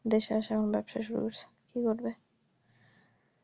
দেশে আইসা এখন ব্যবসা শুরু করছে কি করবে